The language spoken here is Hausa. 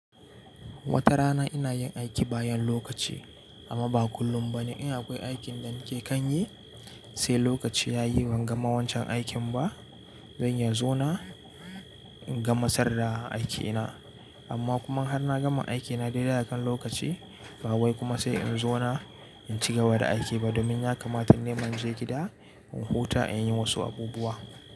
Wata rana ina yin aiki bayan lokaci amma ba kullum ba. In akwai aikin da nake kan yi, sai lokaci ya yi ban gama wancan aikin ba. Zanyi zona in gamasar da aiki na. Amma kuma har na gama aiki na dai dai akan lokaci, ba wai kuma sai in zo na in cigawa da aiki ba domin ya kamata nima in je gida in huta in yi wasu abubuwa.